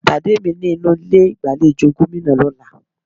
Pàdé mi ní inú ilé ìgbàlejò Gómìnà lọ́là